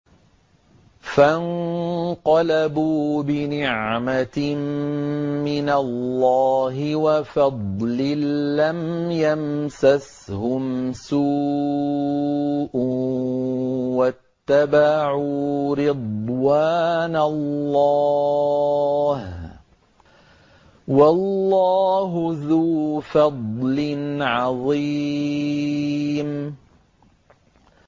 فَانقَلَبُوا بِنِعْمَةٍ مِّنَ اللَّهِ وَفَضْلٍ لَّمْ يَمْسَسْهُمْ سُوءٌ وَاتَّبَعُوا رِضْوَانَ اللَّهِ ۗ وَاللَّهُ ذُو فَضْلٍ عَظِيمٍ